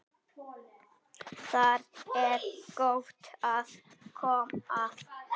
Þar er gott að koma.